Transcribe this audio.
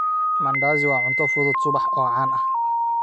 Mandazi waa cunto fudud subax oo caan ah.